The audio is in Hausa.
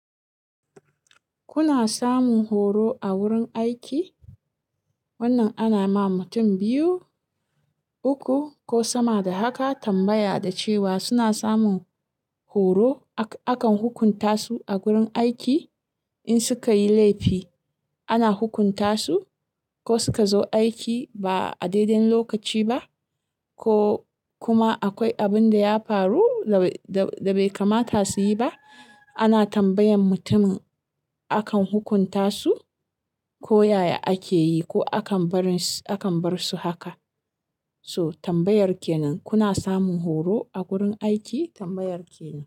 Kuna samun horo a wurin aiki? Wannan ana ma mutum biyu, uku ko sama da haka, tambaya da cewa suna samun horo? Akan hukunta su a gurin aiki in suka yi laifi. Ana hukunta su, ko suka zo aiki ba a dai-dai lokaci ba, ko kuma akwai abin da ya faru, da bai kamata su yi ba, Ana tambayan mutumin akan hukunta su, ko yaya ake yi ko akan bar su haka. So tambayar ke nan. Kuna samun horo a gurin aiki? Tambayar ke nan.